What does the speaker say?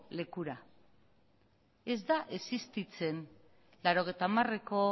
lekura ez da existitzen mila bederatziehun eta laurogeita hamareko